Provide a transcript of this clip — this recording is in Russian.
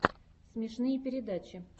смешные передачи